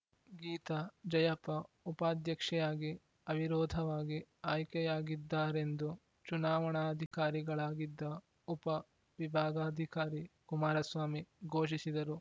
ಗೀತಾ ಜಯಪ್ಪ ಉಪಾಧ್ಯಕ್ಷೆಯಾಗಿ ಅವಿರೋಧವಾಗಿ ಆಯ್ಕೆಯಾಗಿದ್ದಾರೆಂದು ಚುನಾವಣಾಧಿಕಾರಿಗಳಾಗಿದ್ದ ಉಪ ವಿಭಾಗಾಧಿಕಾರಿ ಕುಮಾರಸ್ವಾಮಿ ಘೋಷಿಸಿದರು